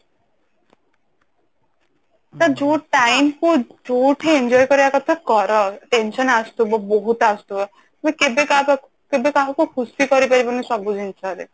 ତ ଯୋଉ time କୁ ଯୋଉଠି enjoy କରିବା କଥା କର tension ଆସୁଥିବ ବହୁତ ଆସୁଥିବ but କେବେ କାହାକୁ କେବେ କାହାକୁ ଖୁସି କରି ପାରିବୁନି ସବୁ ଜିନିଷରେ